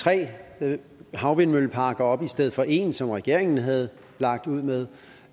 tre havvindmølleparker op i stedet for en som regeringen havde lagt ud med